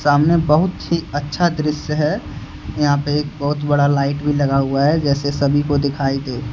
सामने बहुत ही अच्छा दृश्य है यहां पे एक बहुत बड़ा लाइट भी लगा हुआ है जैसे सभी को दिखाई दे।